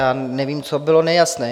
Já nevím, co bylo nejasné.